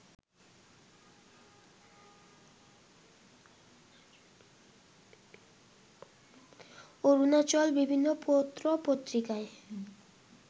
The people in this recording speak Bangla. অরুণাচল বিভিন্ন পত্র পত্রিকায়